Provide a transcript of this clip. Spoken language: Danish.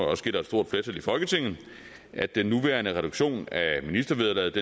også gælder et stort flertal i folketinget at den nuværende reduktion af ministervederlaget